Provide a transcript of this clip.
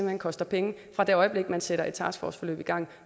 hen koster penge fra det øjeblik man sætter et taskforceforløb i gang